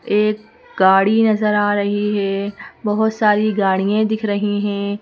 एक गाड़ी नजर आ रही है बहुत सारी गाड़ियें दिख रही हैं।